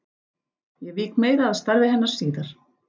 Ég vík meira að starfi hennar síðar.